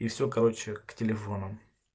и все короче к телефону